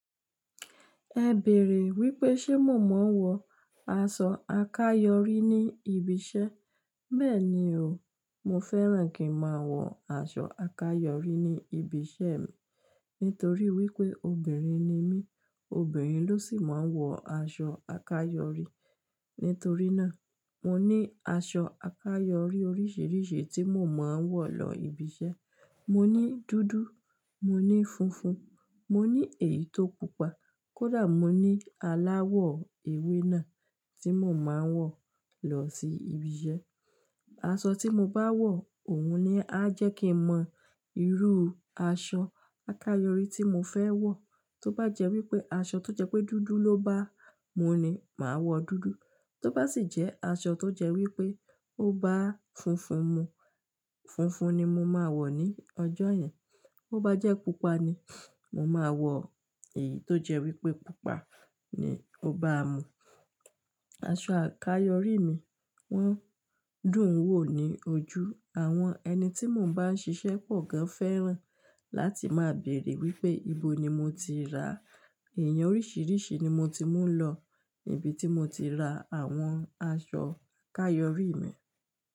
Ẹ bèèrè wípé ṣe mo máa ń wọ aṣọ àkayòrí ní ibi iṣẹ́. Bẹ́ẹ̀ni o, mo fẹ́ràn kí n máa wọ aṣọ àkayòrí ní ibi iṣẹ́ mi nítorí wípé obìnrin ni mí, obìnrin ló sì máa ń wọ aṣọ àkayòrí. Nítorí náà, mo ní aṣọ àkayòrí oríṣiríṣi tí mo máa ń wọ lọ ibi iṣẹ́. Mo ní dúdú, mo ní funfun, mo ní èyí tó pupa, kódà mo ní aláwọ̀ ewé náà tí mo máa ń wọ̀ lọ sí ibi iṣẹ́. Aṣọ tí mo bá wọ̀, òun ni á jẹ́ kí n mọ irú aṣọ àkayòrí tí mo fẹ́ wọ̀. Tó bá jẹ́ wípé aṣọ tó jẹ́ pé dúdú ló bá mú mi, màá wọ dúdú. Tó bá sì jẹ́ aṣọ tó jẹ́ wípé ó bá funfun mú, funfun ni mo máa wọ̀ ní ọjọ́ yẹn. Ó bá jẹ́ pupa ni, mo máa wọ èyí tó jẹ́ wípé pupa ni ó bá mú. Aṣọ àkayòrí mi, wọ́n dùn ún wò ní ojú. Àwọn ẹni tí mò ń bá ń ṣiṣẹ́ pọ̀ gan fẹ́ràn láti máa béèrè wípé ibo ni mo ti rà á. Ẹ̀yàn oríṣiríṣi ni mo ti mú lọ ibi tí mo ti ra àwọn aṣọ àkayòrí mi.